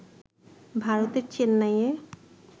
ভারতের চেন্নাইয়ে